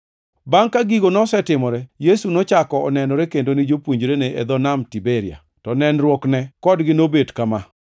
Bangʼ ka gigo nosetimore, Yesu nochako onenore kendo ni jopuonjrene e dho Nam Tiberia. To nenruokne kodgi nobet kama: